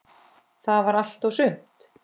Það var allt og sumt!